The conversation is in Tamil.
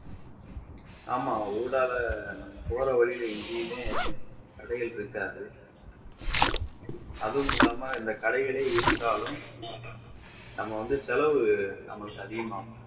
ஆமா உள்ளால போற வழியில எங்கேயுமே கடைகள் இருக்காது அதுவும் இல்லாம கடைகளே இருந்தாலும் நம்ம வந்து செலவு நமக்கு அதிகமாகும்